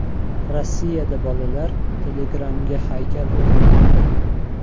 Rossiyada bolalar Telegram’ga haykal o‘rnatdi.